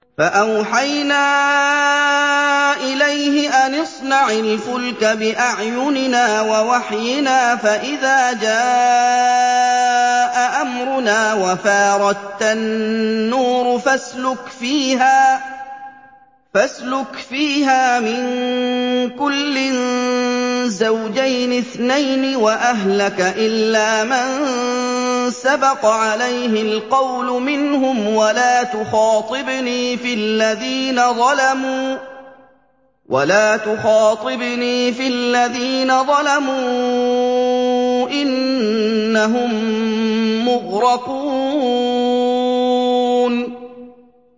فَأَوْحَيْنَا إِلَيْهِ أَنِ اصْنَعِ الْفُلْكَ بِأَعْيُنِنَا وَوَحْيِنَا فَإِذَا جَاءَ أَمْرُنَا وَفَارَ التَّنُّورُ ۙ فَاسْلُكْ فِيهَا مِن كُلٍّ زَوْجَيْنِ اثْنَيْنِ وَأَهْلَكَ إِلَّا مَن سَبَقَ عَلَيْهِ الْقَوْلُ مِنْهُمْ ۖ وَلَا تُخَاطِبْنِي فِي الَّذِينَ ظَلَمُوا ۖ إِنَّهُم مُّغْرَقُونَ